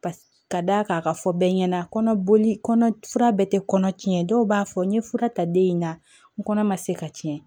Ka d'a kan a ka fɔ bɛɛ ɲɛna kɔnɔ boli kɔnɔ fura bɛɛ tɛ kɔnɔ tiɲɛ dɔw b'a fɔ n ye fura ta den in na n kɔnɔ ma se ka tiɲɛ